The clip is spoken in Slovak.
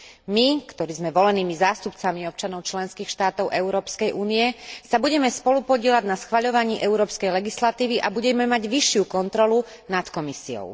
My, ktorí sme volenými zástupcami občanov členských štátov Európskej únie, sa budeme spolupodieľať na schvaľovaní európskej legislatívy a budeme mať vyššiu kontrolu nad Komisiou.